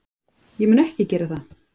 Ég mun ekki gera það.